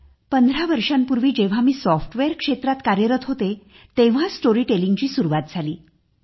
पंधरा वर्षांपूर्वी जेव्हा मी सॉफ्टवेअर क्षेत्रात कार्यरत होते तेव्हा स्टोरी टेलिंग ची सुरुवात झाली